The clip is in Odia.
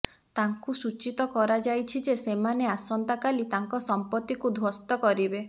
ତାଙ୍କୁ ସୂଚିତ କରାଯାଇଛି ଯେ ସେମାନେ ଆସନ୍ତା କାଲି ତାଙ୍କ ସମ୍ପତ୍ତିକୁ ଧ୍ବସ୍ତ କରିବେ